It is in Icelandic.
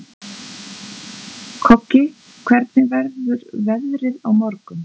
Koggi, hvernig verður veðrið á morgun?